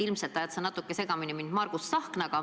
Ilmselt ajad sa mind natuke segamini Margus Tsahknaga.